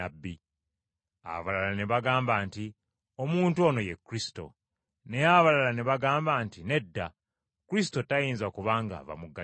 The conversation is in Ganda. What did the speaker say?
Abalala ne bagamba nti, “Omuntu ono ye Kristo.” Naye abalala ne bagamba nti, “Nedda, Kristo tayinza kuba ng’ava mu Ggaliraaya.”